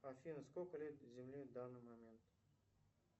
афина сколько лет земле в данный момент